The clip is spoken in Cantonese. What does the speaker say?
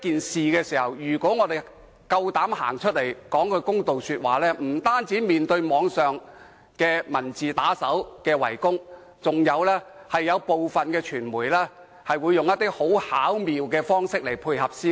事實上，如果我們有勇氣走出來就這件事說句公道話，我們不但會面對網上文字打手的圍攻，更有部分傳媒會以一些很巧妙的方式配合，向我們施壓。